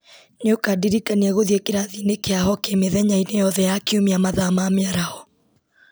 nĩ ũkandirikania gũthiĩ kĩrathi-inĩ kĩa hokĩ mĩthenya-inĩ yothe ya kiumia mathaa ma mĩaraho